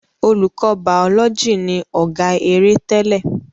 Olùkọ bàólọ́jì ni ọ̀gá-eré tẹ́lẹ̀.